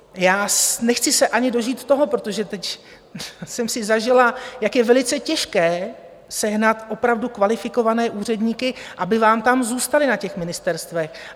Já nechci se ani dožít toho - protože teď jsem si zažila, jak je velice těžké sehnat opravdu kvalifikované úředníky - aby vám tam zůstali na těch ministerstvech.